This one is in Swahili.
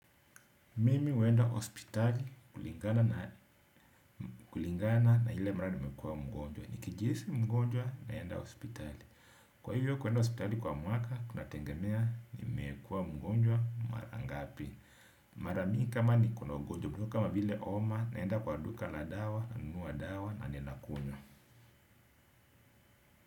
Mimi huenda hospitali kulingana na ile mara nimekuwa mgonjwa. Nikijihisi mgonjwa naenda hospitali. Kwa hivyo kuenda hospitali kwa mwaka, kunategemea nimekuwa mgonjwa mara ngapi. Maramingi kama niko na ugonjwa, ugonjwa kama vile homa, naenda kwa duka la dawa, nanunua dawa na ninakunywa.